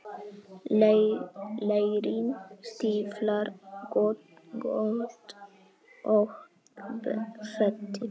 Leirinn stíflar göt og þéttir.